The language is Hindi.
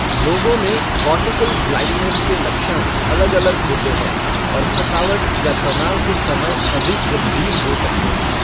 लोगों में कॉर्टिकल ब्लाइंडनेस के लक्षण अलग अलग होते हैं और थकावट या तनाव के समय अधिक गंभीर हो सकते हैं।